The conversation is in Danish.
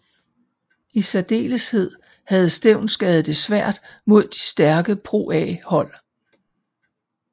I særdeleshed havde Stevnsgade det svært mod de stærkere ProA hold